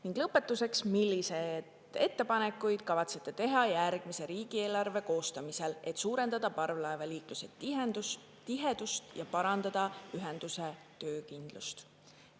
Ning lõpetuseks, milliseid ettepanekuid kavatsete teha järgmise riigieelarve koostamisel, et suurendada parvlaevaliikluse tihedust ja parandada ühenduse töökindlust?